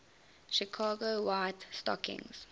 chicago white stockings